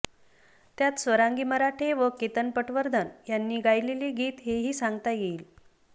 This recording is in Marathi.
त्यात स्वरांगी मराठे व केतन पटवर्धन यांनी गायिलेले गीत हेही सांगता येईल